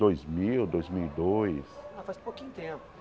Dois mil dois mill e dois Ah, faz pouquinho tempo.